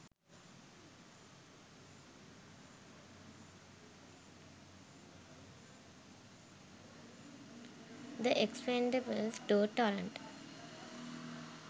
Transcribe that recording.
the expendables 2 torrent